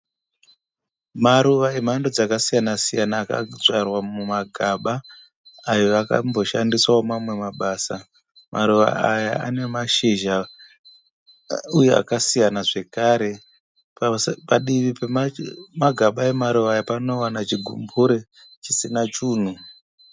Maruva emhando dzakasiyana-siyana akadzvarwa mumagaba ayo akamboshandiswawo mamwe mabasa. Maruva aya anemashizha uye akasiyana zvakare. Padivi pemagaba amaruva aya panowana chigumbure chisina chunhu.